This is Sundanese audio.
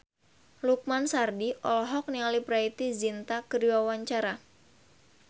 Lukman Sardi olohok ningali Preity Zinta keur diwawancara